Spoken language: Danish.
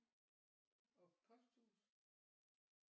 Og posthus